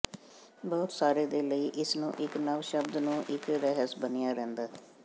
ਬਹੁਤ ਸਾਰੇ ਦੇ ਲਈ ਇਸ ਨੂੰ ਇੱਕ ਨਵ ਸ਼ਬਦ ਨੂੰ ਇੱਕ ਰਹੱਸ ਬਣਿਆ ਰਹਿੰਦਾ ਹੈ